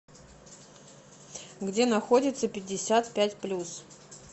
где находится пятьдесят пять плюс